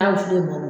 A wusulen don